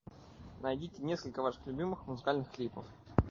найдите несколько ваших любимых музыкальных клипов